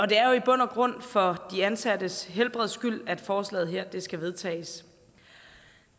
det er jo i bund og grund for de ansattes helbreds skyld at forslaget her skal vedtages